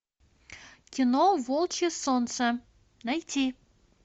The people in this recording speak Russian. кино волчье солнце найти